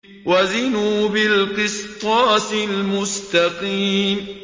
وَزِنُوا بِالْقِسْطَاسِ الْمُسْتَقِيمِ